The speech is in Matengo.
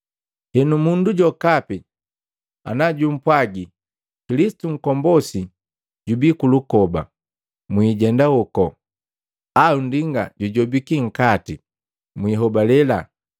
“Henu mundu jokapi najumpwaji, ‘Kilisitu Nkombosi jubi kulukoba,’ mwiijenda hoku, au ‘Nndinga jujobiki nkati,’ mwihobale.